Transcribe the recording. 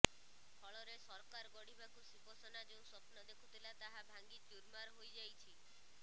ଫଳରେ ସରକାର ଗଢ଼ିବାକୁ ଶିବସେନା ଯେଉଁ ସ୍ୱପ୍ନ ଦେଖୁଥିଲା ତାହା ଭାଙ୍ଗି ଚୂର୍ମାର ହୋଇଯାଇଛି